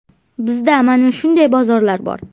Bizda mana shunday bozorlar bor.